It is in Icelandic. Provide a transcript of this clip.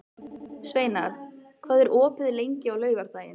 Sveinar, hvað er opið lengi á laugardaginn?